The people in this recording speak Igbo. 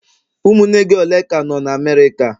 Ụmụnne gị ole ka nọ na America?